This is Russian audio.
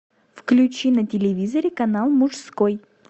включи на телевизоре канал мужской